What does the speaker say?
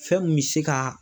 Fɛn mun mɛ se ka